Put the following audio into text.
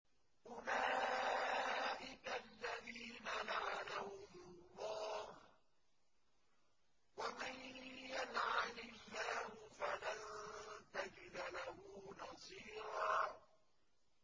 أُولَٰئِكَ الَّذِينَ لَعَنَهُمُ اللَّهُ ۖ وَمَن يَلْعَنِ اللَّهُ فَلَن تَجِدَ لَهُ نَصِيرًا